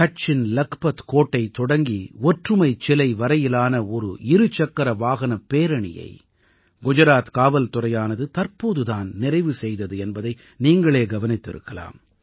கட்ச்சின் லக்பத் கோட்டை தொடங்கி ஒற்றுமைச் சிலை வரையிலான ஒரு இரு சக்கர வாகனப் பேரணியை குஜராத் காவல்துறையானது தற்போது தான் நிறைவு செய்தது என்பதை நீங்களே கவனித்திருக்கலாம்